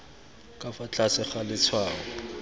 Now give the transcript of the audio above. ka fa tlase ga letshwao